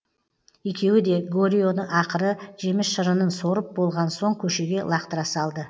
екеуі де горионы ақыры жеміс шырынын сорып болған соң көшеге лақтыра салды